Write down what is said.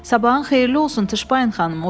Sabahın xeyirli olsun Tışbayın xanım, o dedi.